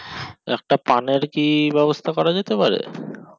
একটা পানের কি ব্যবস্থা করা যেতে পারে